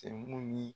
Cɛ mun ye